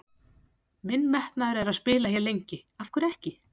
Minn metnaður er að spila hér lengi, af hverju ekki?